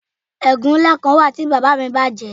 Egun nla kan wa ti baba mi baje